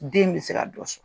Den bi se ka dɔ sɔ